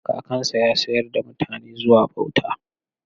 Kakansa ya sayar da mutane zuwa bauta.